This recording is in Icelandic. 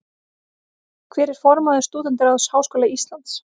Hver er formaður Stúdentaráðs Háskóla Íslands?